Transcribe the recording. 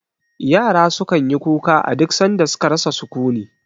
Yara su kan yi kuka a duk san da su ka rasa sukuni